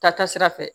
Taa taasira fɛ